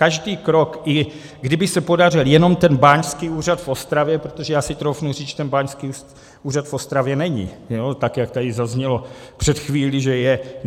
Každý krok, i kdyby se podařil jenom ten báňský úřad v Ostravě, protože já si troufnu říct, že ten báňský úřad v Ostravě není, tak jak tady zaznělo před chvílí, že je.